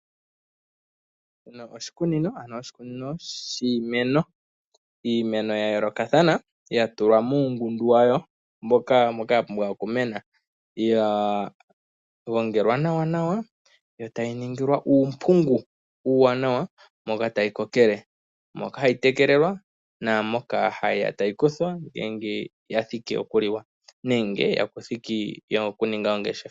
Oshikunino shiimeno. Iimeno ya yoolokathana ya tulwa muungundu wayo mboka ya pumbwa okumena. Oya gongelwa nawa yo tayi ningilwa uumpungu uuwanawa moka tayi kokele, moka hayi tekelelwa naamoka hayi ya tayi kuthwa uuna ya adha okuliwa nenge okuya momangeshefelo.